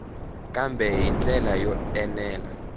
kambe hi ndlela yo enela